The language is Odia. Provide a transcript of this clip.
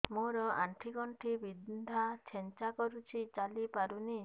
ମୋର ଆଣ୍ଠୁ ଗଣ୍ଠି ବିନ୍ଧା ଛେଚା କରୁଛି ଚାଲି ପାରୁନି